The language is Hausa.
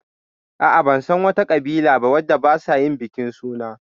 Ah ah, ban san wa ta ƙabila ba wadda ba sa yin bikin suna